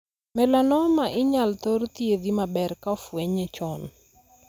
Melanoma' inyal thor thiedhi maber ka ofwenye chon.